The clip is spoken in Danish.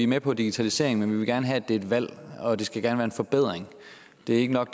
med på digitalisering men vi vil gerne have at det er et valg og det skal gerne være en forbedring det er ikke nok